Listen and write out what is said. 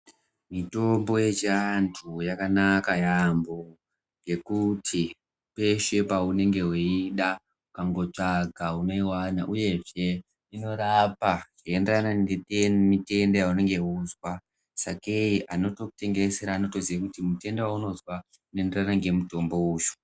Mitombo yechiantu yakanaka yaampho ,ngekuti peshe paunenge weiida ukangotsvaga unoiwana .uyezve inorapa zveienderana nemutenda waunenge weinzwa .Sakei anotokutengesera anotoziya kuti mutenda waunozwa unoenderana ngemutombo uyu.